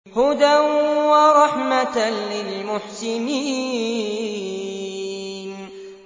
هُدًى وَرَحْمَةً لِّلْمُحْسِنِينَ